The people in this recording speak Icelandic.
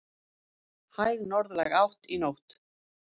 Hæg norðlæg átt í nótt